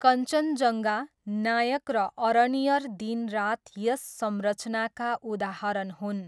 कञ्चनजङ्गा, नायक र अरण्यर दिन रात यस संरचनाका उदाहरण हुन्।